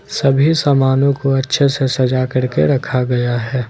सभी सामानों को अच्छे से सजा करके रखा गया है।